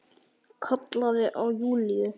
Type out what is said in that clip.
Kallaði á Júlíu.